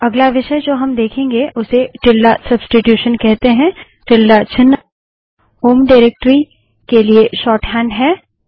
अगला विषय जो हम देखेंगे उसे टिल्ड सब्स्टिटूशन कहते हैं टिल्ड चिन्ह होम डाइरेक्टरी के लिए शोर्टहैंड है